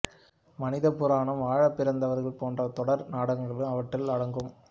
மனித புராணம் வாழப்பிறந்தவர்கள் போன்ற தொடர் நாடகங்களும் அவற்றில் அடங்கும்